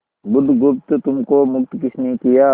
बुधगुप्त तुमको मुक्त किसने किया